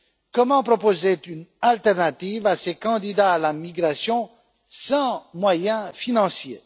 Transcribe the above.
Comment proposer une alternative à ces candidats à la migration sans moyens financiers?